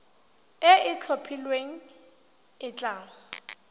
e e itlhophileng e tla